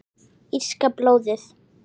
Írska blóðið?